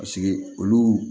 olu